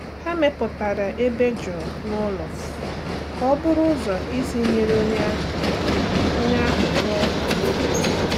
Ha mepụtara ebe jụụ n’ụlọ ka ọ bụrụ ụzọ isi nyere onye ahụ onye ahụ rụọ ụka n’echiche.